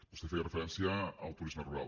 vostè feia referència al turisme rural